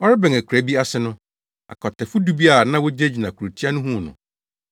Ɔrebɛn akuraa bi ase no, akwatafo du bi a na wogyinagyina kurotia no huu no